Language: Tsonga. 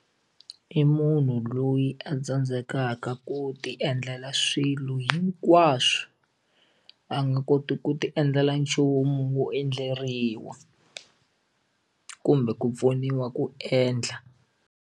I munhu loyi a tsandzekaka ku ti endlela swilo hinkwaswo a nga koti ku ti endlela nchumu wo endleriwa kumbe ku pfuniwa ku endla.